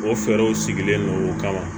O fɛɛrɛw sigilen don o kama